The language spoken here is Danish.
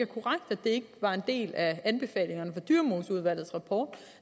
korrekt at det var en del af anbefalingerne fra dyremoseudvalgets rapport